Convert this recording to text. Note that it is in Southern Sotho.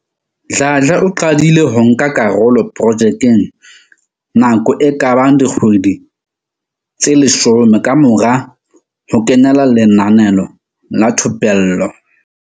Dladla o qadile ho nka karolo projekeng nako e ka bang dikgwedi tse 10 kamora ho kenela lenaneo la thupello la.